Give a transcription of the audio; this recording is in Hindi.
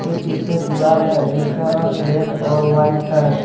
पीछे दीवाल है जिसका रंग रेड और वाइट है।